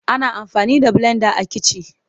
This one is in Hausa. Ana amfani da blenda a kici.